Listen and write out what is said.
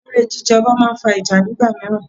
Eré jí jẹ ọba máa ń fa ìjà nígbà míràn.